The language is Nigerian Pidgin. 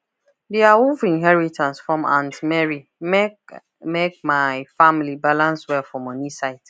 the awoof inheritance from aunt mary make make my family balance well for money side